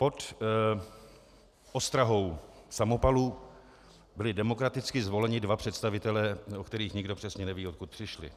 Pod ostrahou samopalů byli demokraticky zvoleni dva představitelé, o kterých nikdo přesně neví, odkud přišli.